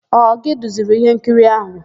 Ọ gị duziri íhénkiri áhụ̀?